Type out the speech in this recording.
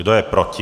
Kdo je proti?